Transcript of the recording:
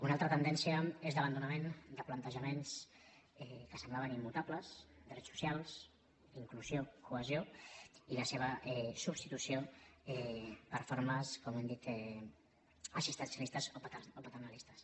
una altra tendència és d’abandonament de plantejaments que semblaven immutables drets socials inclusió cohesió i la seva substitució per formes com hem dit assistencialistes o paternalistes